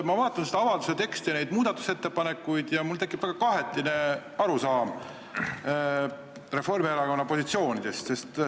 Ma vaatan seda avalduse teksti ja neid muudatusettepanekuid ja mul tekib väga kahetine arusaam Reformierakonna positsioonist.